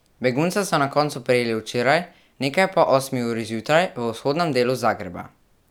Begunca so na koncu prijeli včeraj, nekaj po osmi uri zjutraj, v vzhodnem delu Zagreba.